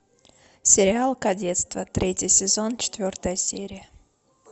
сериал кадетство третий сезон четвертая серия